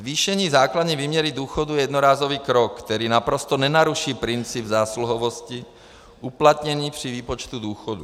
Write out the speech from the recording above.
Zvýšení základní výměry důchodu je jednorázový krok, který naprosto nenaruší princip zásluhovosti uplatněný při výpočtu důchodu.